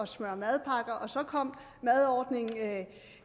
smøre madpakker og så kom madordningen